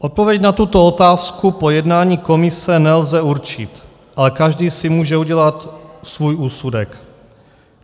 Odpověď na tuto otázku po jednání komise nelze určit, ale každý si může udělat svůj úsudek.